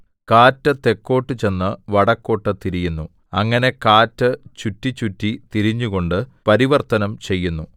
കാറ്റ് തെക്കോട്ടു ചെന്ന് വടക്കോട്ടു തിരിയുന്നു അങ്ങനെ കാറ്റ് ചുറ്റിച്ചുറ്റി തിരിഞ്ഞുകൊണ്ട് പരിവർത്തനം ചെയ്യുന്നു